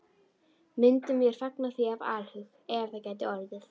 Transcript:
Myndum vér fagna því af alhug, ef það gæti orðið.